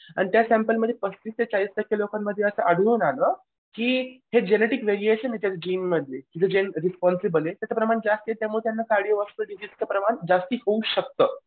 आणि त्या सॅम्पल मध्ये चाळीस टक्के लोकांमध्ये ते आढळून आलं की हे जेनेटिक व्हेरिएशन आहेत जिनमध्ये की जो जेन रिस्पॉन्सिबल आहे त्याचं प्रमाण जास्त आहे त्याच्यामुळे यांना डिसीजचं प्रमाण जास्ती होऊ शकतं.